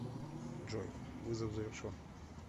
джой вызов завершен